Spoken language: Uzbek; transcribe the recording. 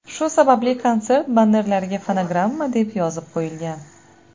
Shu sababli konsert bannerlariga fonogramma deb yozib qo‘yilgan.